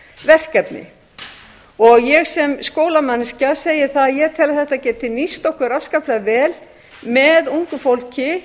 verkefni ég sé skólamanneskja segi að ég tel að þetta geti nýst okkur afskaplega vel með ungu fólki